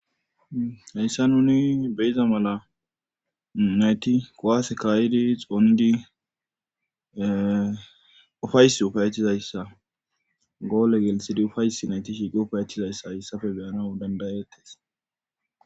heyssa nuni beyiza mala nayti kowaase kaayidi xoondi ufaysi ufayetizayza goole gelitsidi ufaysi nayti shiiqi ufaayetizayssa hayssafe beyana dandayettes